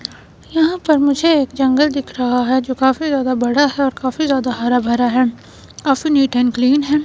यहां पर मुझे एक जंगल दिख रहा है जो काफी ज्यादा बड़ा है और काफी ज्यादा हरा भरा है काफी नीट एंड क्लीन हैं।